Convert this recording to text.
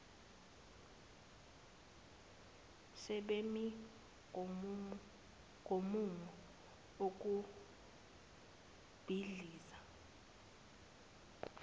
sebemi ngomumo ukubhidliza